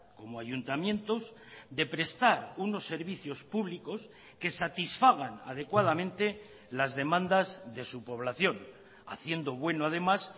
como ayuntamientos de prestar unos servicios públicos que satisfagan adecuadamente las demandas de su población haciendo bueno además